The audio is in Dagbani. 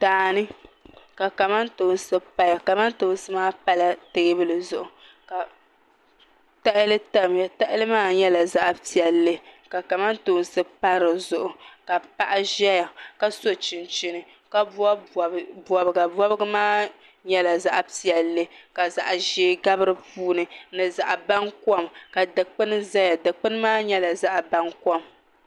Daani ka kamantoosi paya kamantoosi maa pala teebuli zuɣu ka tahali tamya tahali maa nyɛla zaɣa piɛlli ka kamantoosi pa dizuɣu ka paɣa ʒɛya ka sochinchini ka bobi bobiga bobiga maa nyɛla zaɣa piɛlli ka zaɣa ʒee gabi dipuuni ni zaɣa bankom ka dikpini ʒɛya dikpini maa nyɛla zaɣa bankom .